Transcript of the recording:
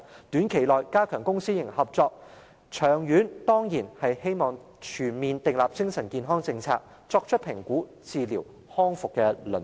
短期內應加強公私營合作，長遠而言則當然希望全面訂立精神健康政策，改善評估、治療和康復服務的輪候時間。